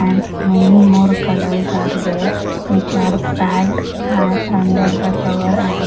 and many more colors are there which are packed an under the cover and --